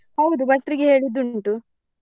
ಹೌದು ಭಟ್ರಿಗೆ ಹೇಳಿದ್ದು ಉಂಟು.